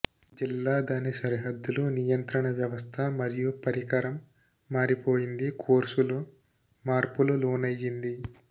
జిల్లా దాని సరిహద్దులు నియంత్రణ వ్యవస్థ మరియు పరికరం మారిపోయింది కోర్సులో మార్పులు లోనయ్యింది